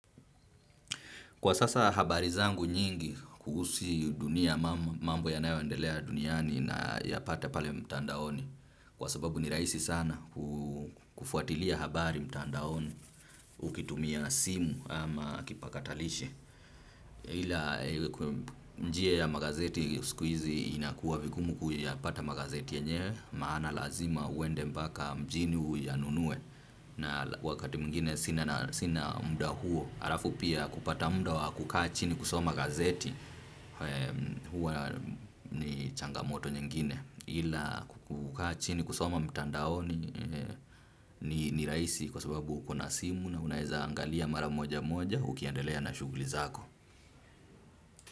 Kwa sasa habari zangu nyingi kuhusu dunia, mambo yanayoendelea duniani nayapata pale mtandaoni. Kwa sababu ni rahisi sana kufuatilia habari mtandaoni ukitumia simu ama kipakatalishi. Ila njia ya magazeti siku hizi inakuwa vigumu kuyapata magazeti yenyewe, maana lazima uende mpaka mjini uyanunue. Na wakati mwingine sina muda huo. Alafu pia kupata muda wa kukaa chini kusoma gazeti huwa ni changamoto nyingine ila kukaa chini kusoma mtandaoni, ni rahisi kwa sababu uko na simu na unaeza angalia mara moja moja ukiendelea na shughuli zako.